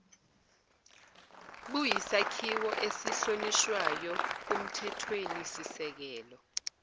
buyisakhiwo esihlonishwayo kumthethwenisisekelo